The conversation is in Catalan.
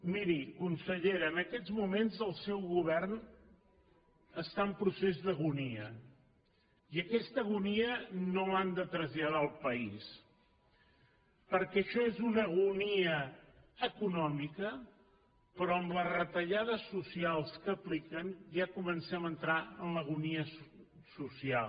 miri consellera en aquests moments el seu govern està en procés d’agonia i aquesta agonia no l’han de traslladar al país perquè això és una agonia econòmica però amb les retallades socials que apliquen ja comencem a entrar en l’agonia social